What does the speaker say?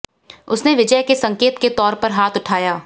उसने विजय के संकेत के तौर पर हाथ उठाया